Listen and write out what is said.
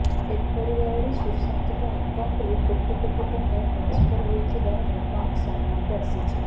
ଏପରି ଭାବରେ ସୁଶାନ୍ତଙ୍କ ଆକାଉଣ୍ଟରୁ କୋଟି କୋଟି ଟଙ୍କା ଟ୍ରାନ୍ସଫର୍ ହୋଇଥିବା ଘଟଣା ସାମ୍ନାକୁ ଆସିଛି